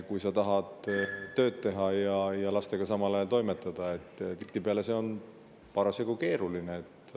Kui sa tahad tööd teha ja samal ajal lastega toimetada, siis tihtipeale on see parasjagu keeruline.